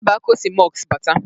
Otebe aka o si mọsk bata